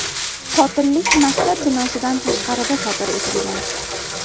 Qotillik maktab binosidan tashqarida sodir etilgan.